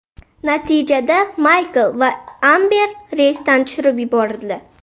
Natijada Maykl va Amber reysdan tushirib yuborildi.